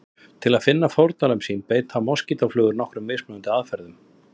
Til að finna fórnarlömb sín beita moskítóflugur nokkrum mismunandi aðferðum.